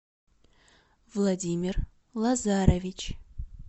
владимир лазарович